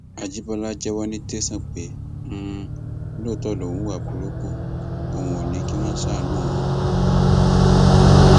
àjìbọlá jẹwọ ní tẹsán pé um lóòótọ lòun hùwà burúkú ọhún ò ní kí wọn ṣàánú òun um